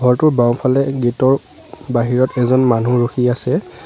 ঘৰটোৰ বাওঁফালে গেট ৰ বাহিৰত এজন মানুহ ৰখি আছে।